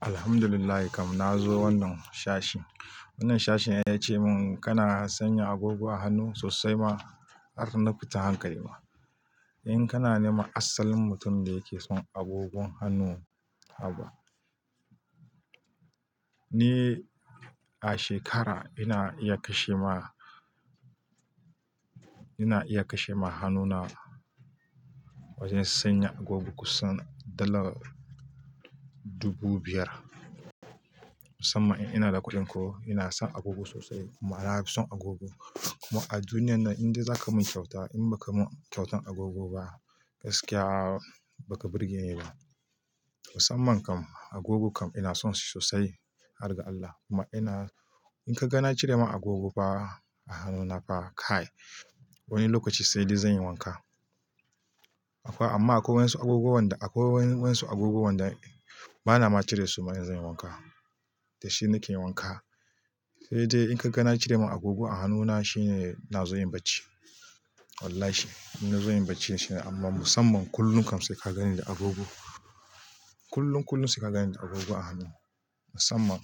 Alhamdulillahi kam na zo wannan shashe. Wannan shashen ya ce mun kana sanya agogo a hannu sosai ma har na fita hankali ma. In kana nema asalin mutum da yake son agogon hannu haka. Ni a shekara ina iya kashe ma, ina iya kashe ma hannuna wajen sanya agogo kusan dala dubu biyar. Musamman in ina da kuɗin ko ina son agogo sosai kuma nafi son agogo. Kuma a duniyar nan in dai za ka mun kyauta in ba ka mun kyautan agogo ba gaskiya ba ka burge ni ba. Musamman kam agogo kam ina son shi sosai har ga Allah. Kuma ina in ka gana cire ma agogo fa a hannuna fa kai wani lokaci sai dai zan yi wanka. Amma akwai wasu agoguwan da, akwai wasu agoguwan da ba na ma cire su ma in zan yi wanka. Dashi nake wanka sai dai in ka gana cire ma agogo a hannuna shine na zo yin bacci. Wallahi ina zan yi bacci shine amma musamman kullum kam sai ka ganni da agogo. Kullum kullum sai ka gani da agogo a hannu. Musamman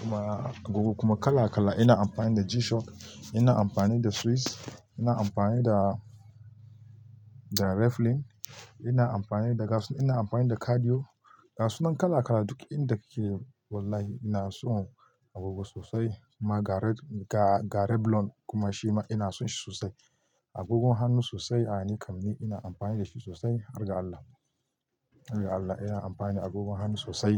kuma agogo kuma kala kala ina amfani da G-Shock, ina amfani da Swiss, ina amfani da, da Reflin, ina amfani da gasu, ina amfani da cardio. Gasunan kala kala duk inda kike. Wallahi ina son agogo sosai. Kuma ga Red, ga, ga Reblon kuma shi ma ina son shi sosai. Agogon hannu sosai a nikam ni ina amfani da shi sosai har ga Allah. Har ga Allah ina amfani da agogon hannu sosai.